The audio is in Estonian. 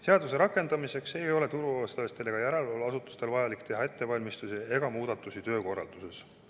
Seaduse rakendamiseks ei ole turuosalistel ega järelevalveasutustel vaja teha ettevalmistusi ega muudatusi töökorralduses.